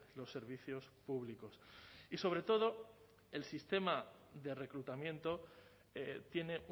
los servicios públicos y sobre todo el sistema de reclutamiento tiene